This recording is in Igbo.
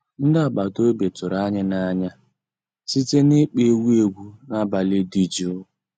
Ndị́ àgbàtà òbí tụ̀rụ̀ ànyị́ n'ànyá síté n'ị́kpọ́ égwu égwu n'àbàlí dị́ jụ́ụ́.